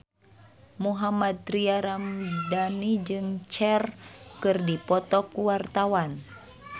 Mohammad Tria Ramadhani jeung Cher keur dipoto ku wartawan